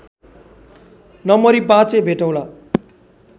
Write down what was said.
नमरी बाँचे भेटौँला